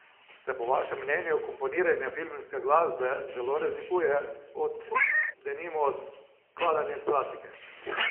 Se po vašem mnenju komponiranje filmske glasbe zelo razlikuje od, denimo, skladanja klasike?